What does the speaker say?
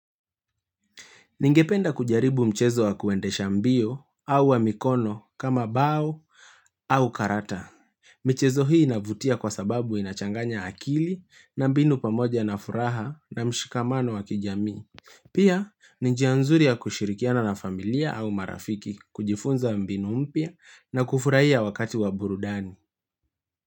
Ningependa kujaribu mchezo wa kuendesha mbio au wa mikono kama bao au karata. Michezo hii inavutia kwa sababu inachanganya akili na mbinu pamoja na furaha na mshikamano wa kijamii. Pia, ni njia nzuri ya kushirikiana na familia au marafiki kujifunza mbinu mpia na kufuraia wakati wa burudani.